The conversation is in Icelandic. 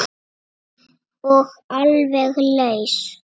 Og alveg laus.